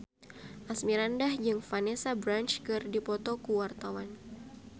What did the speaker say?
Asmirandah jeung Vanessa Branch keur dipoto ku wartawan